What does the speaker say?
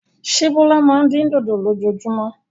Ṣé Bọ́lá máa ń dín dòdò lójoojúmọ́?